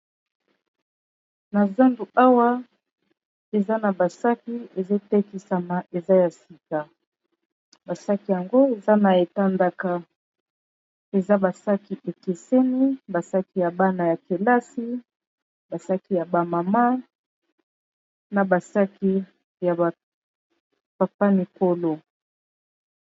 Na zandu awa eza na basaki ezotekisama, eza ya sika basaki yango eza na etandaka eza basaki ekeseni basaki ya bana ya kelasi basaki ya ba mama na basaki ya papa mikolo.